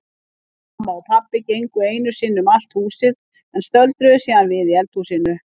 Mamma og pabbi gengu einu sinni um allt húsið en stöldruðu síðan við í eldhúsinu.